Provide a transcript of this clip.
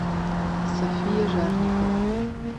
софия жарникова